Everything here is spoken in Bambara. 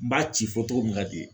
N b'a ci fɔ togo min kadi ye.